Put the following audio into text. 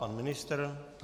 Pan ministr?